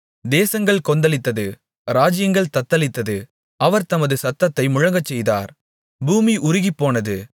தேசங்கள் கொந்தளித்தது ராஜ்ஜியங்கள் தத்தளித்தது அவர் தமது சத்தத்தை முழங்கச்செய்தார் பூமி உருகிப்போனது